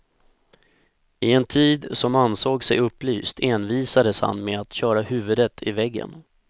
I en tid som ansåg sig upplyst envisades han med att köra huvudet i väggen.